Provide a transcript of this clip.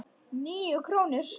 Níu krónur?